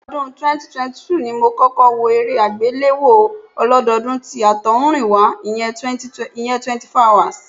Ọdún 2002 ni mo kọ́kọ́ wo eré àgbéléwò ọlódọọdún tí àtọ̀húnrìnwá, ìyẹn 24hrs